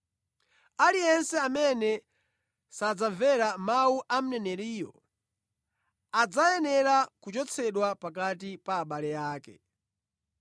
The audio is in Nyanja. Aliyense amene sadzamvera mawu a mneneriyo, adzayenera kuchotsedwa pakati pa abale ake.’